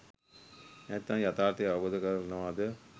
නැතිනම් යථාර්ථය අවබෝධ කරගන්නවාද